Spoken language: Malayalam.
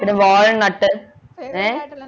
walnut ഏർ